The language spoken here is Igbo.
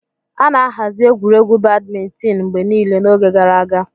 A na-ahazi egwuregwu Badimintin mgbe niile n'oge gara aga.